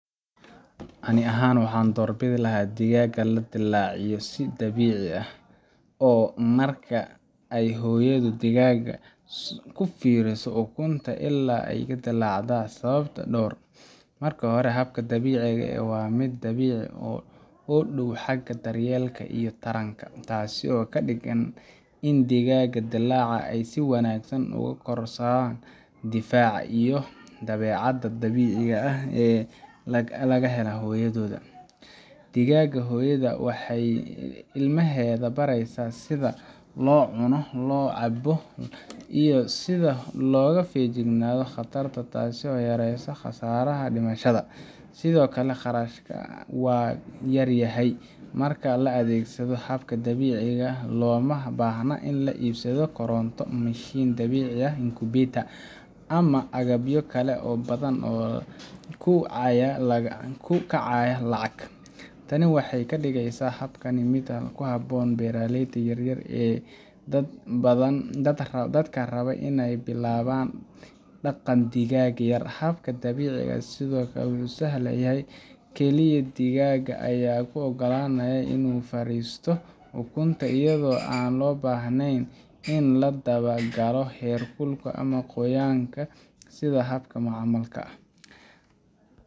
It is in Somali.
Aniga ahaan, waxaan doorbidi lahaa in digaagga la dilaaciyo si dabiici ah oo ah marka ay hooyadood digaadda ku fariisato ukunta ilaa ay ka dilaacaan, sababahan dartood: Marka hore, habka dabiiciga ah waa mid dabiici u dhow xagga daryeelka iyo taranka, taasoo ka dhigan in digaagga dilaaca ay si wanaagsan uga kororsadaan difaac iyo dabeecad dabiici ah oo ay ka helaan hooyadood. Digaadda hooyada ah waxay ilmaheeda baraysaa sida loo cuno, loo cabbo, iyo sida looga feejignaado khataraha, taasoo yaraysa khasaaraha dhimashada. Sidoo kale, kharashka waa yar yahay marka la adeegsado habka dabiiciga ah. Looma baahna in la iibsado koronto, mishiin dilaaciye ah [csincubator, ama agabyo kale oo badan oo ku kacaya lacag. Tani waxay ka dhigeysaa habkan mid u habboon beeraleyda yaryar ama dadka raba inay bilaabaan dhaqan digaag yar. Habka dabiiciga ah sidoo kale wuu sahlan yahay—kaliya digaadda ayaa loo oggolaanayaa inay fariisato ukunta, iyadoo aan loo baahnayn in la daba galo heerkulka ama qoyaanka sida habka macmalka ah.